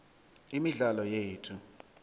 imidlalo yethu